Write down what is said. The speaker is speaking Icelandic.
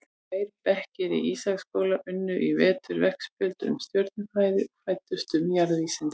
Tveir bekkir í Ísaksskóla unnu í vetur veggspjöld um stjörnufræði og fræddust um jarðvísindi.